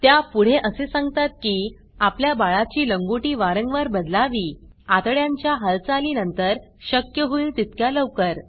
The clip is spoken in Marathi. त्या पुढे असे सांगतात की आपल्या बाळाची लंगोटी वारंवार बदलवी आतड्यांच्या हालचाली नंतर शक्य होईल तितक्या लवकर